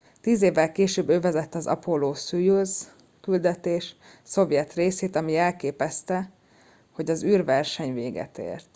tíz évvel később ő vezette az apollo szojuz küldetés szovjet részét ami jelképezte hogy az űrverseny véget ért